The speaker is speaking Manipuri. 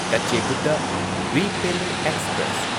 ꯀꯆꯦꯒꯨꯗ ꯔꯤꯄꯦꯜꯂꯦ ꯑꯦꯛꯁꯄ꯭ꯔꯦꯁ